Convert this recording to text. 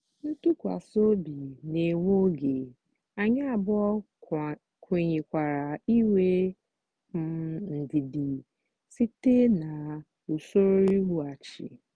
ntụkwasị obi na-ewe oge anyị abụọ kwenyekwara inwe um ndidi site na usoro iwughachi.